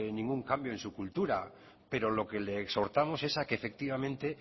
ningún cambio en su cultura pero lo que le exhortamos es a que efectivamente